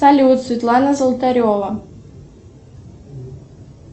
салют светлана золотарева